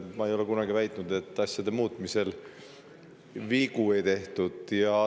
Ma ei ole kunagi väitnud, et asjade muutmisel ei ole vigu tehtud.